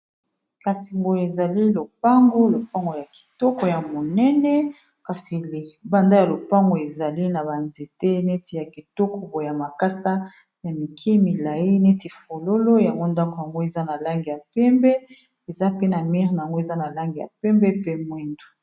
kasi ngoyo ezali lopango lopango ya kitoko ya monene kasi libanda ya lopango ezali na banzete neti ya ketoko boya makasa ya mike milai neti fololo ya bondako yango eza na langi ya pembe eza pena mir na yango eza na langi ya pembe pe mwindu